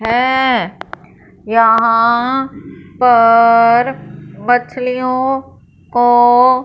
है यहां पर मछलियों को--